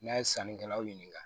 N'a ye sannikɛlaw ɲininka